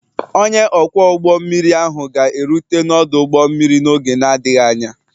Onye ọkwọ ụgbọ mmiri ahụ ga-erute n'ọdụ ụgbọ mmiri n'oge na-adịghị anya